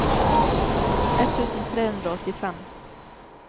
ett tusen tre hundre og åttifem